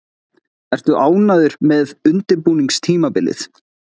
Ertu ánægður með undirbúningstímabilið?